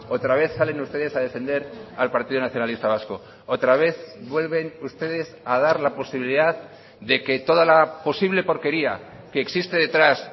otra vez salen ustedes a defender al partido nacionalista vasco otra vez vuelven ustedes a dar la posibilidad de que toda la posible porquería que existe detrás